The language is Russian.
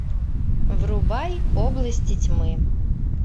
врубай области тьмы